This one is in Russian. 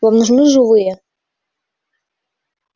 вам нужны живые